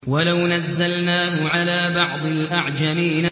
وَلَوْ نَزَّلْنَاهُ عَلَىٰ بَعْضِ الْأَعْجَمِينَ